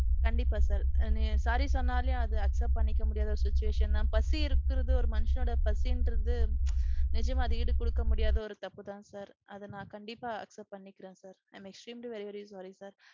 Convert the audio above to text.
கண்டிப்பா sir. Sorry சொன்னாலே அது accept பன்னிக்க முடியாத ஒரு situation தான். பசி இருக்குறது ஒரு மனுஷனோட பசீன்றது நிச்சயமா அத ஈடு குடுக்க முடியாத ஒரு தப்புதான் sir. அத நான் கண்டிப்பா accept பன்னிக்குறேன் sir. I am extremely very very sorry sir.